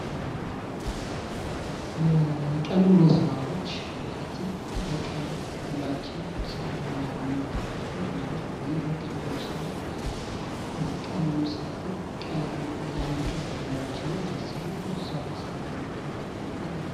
የቀን ውሎ ስራዎች ማለትም በቀን ውሏችን የምንከፍልበት ማለት ነው። ይህ የቀን ውሎ ስራ ቀን ሙሉ ሰርተን ቀን የአንድ ቀን ውሏችን ታስቦ እዛው በሰራንው ልክ የሚከፈልበት ማለት ነው።